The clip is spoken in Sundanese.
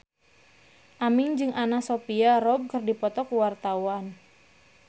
Aming jeung Anna Sophia Robb keur dipoto ku wartawan